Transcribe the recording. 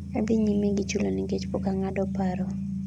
adhi nyime gi chulo nikech pok ang'ado paro